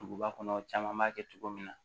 Duguba kɔnɔ caman b'a kɛ cogo min na